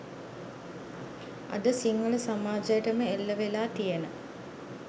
අද සිංහල සමාජයටම එල්ලවෙලා තියෙන